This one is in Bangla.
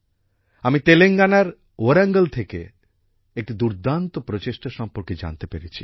আমি তেলেঙ্গানার ওয়ারঙ্গল থেকে একটি দুর্দান্ত প্রচেষ্টা সম্পর্কে জানতে পেরেছি